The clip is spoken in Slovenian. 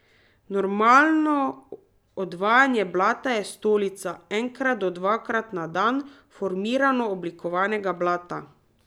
Normalno odvajanje blata je stolica enkrat do dvakrat na dan formirano oblikovanega blata.